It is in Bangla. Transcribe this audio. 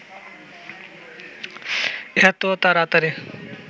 এত তাড়াতাড়ি